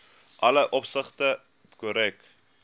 alle opsigte korrek